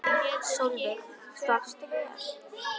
Sólveig: Svafstu vel?